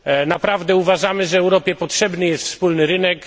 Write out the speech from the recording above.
Naprawdę uważamy, że Europie potrzebny jest wspólny rynek.